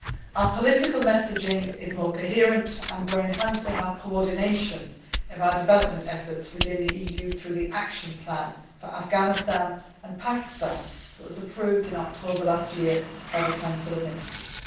Our political messaging is more coherent, and we are enhancing the coordination of our development efforts within the EU through the action plan for Afghanistan and Pakistan, which was approved in October last year by the Council of Ministers.